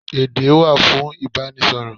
Èdé wà fún Ìbánisọ̀rọ̀.